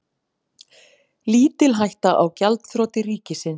Lítil hætta á gjaldþroti ríkisins